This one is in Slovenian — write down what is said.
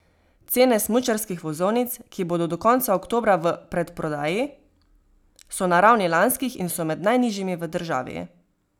Cene smučarskih vozovnic, ki bodo do konca oktobra v predprodaji, so na ravni lanskih in so med najnižjimi v državi.